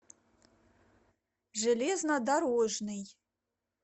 железнодорожный